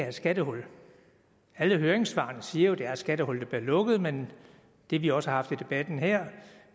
et skattehul alle høringssvarene siger jo at det er et skattehul der bliver lukket men det vi også har haft i debatten her